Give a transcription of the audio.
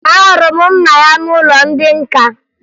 Ahụrụ m nna ya n'ụlọ ndị nka